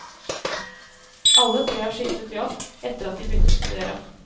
Alle tre har skiftet jobb, etter at de begynte å studere.